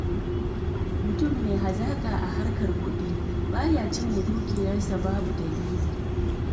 Mutum mai hazaka a harkar kuɗi, ba ya cinyewa dukiyar sa babu dalili.